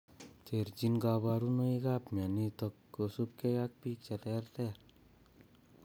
Terchin kaborunoikab mionitok kosubkei ak biik cheterter